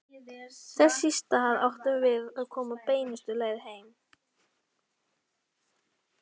Þess í stað áttum við að koma beinustu leið heim.